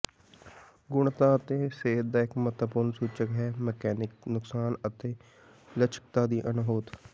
ਗੁਣਵੱਤਾ ਅਤੇ ਸਿਹਤ ਦਾ ਇੱਕ ਮਹੱਤਵਪੂਰਣ ਸੂਚਕ ਹੈ ਮਕੈਨਿਕ ਨੁਕਸਾਨ ਅਤੇ ਲਚਕਤਾ ਦੀ ਅਣਹੋਂਦ